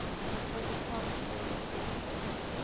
positrons were reported